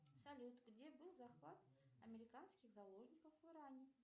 салют где был захват американских заложников в иране